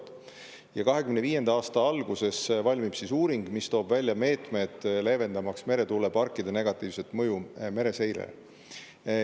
Ja 2025. aasta alguses valmib uuring, mis toob välja meetmed, leevendamaks meretuuleparkide negatiivset mõju mereseirele.